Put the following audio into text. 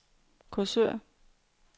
Korsør